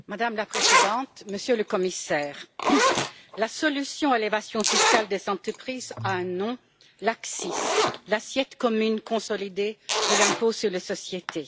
Madame la Présidente, Monsieur le Commissaire, la solution à l'évasion fiscale des entreprises a un nom l'ACCIS, l'assiette commune consolidée pour l'impôt sur les sociétés.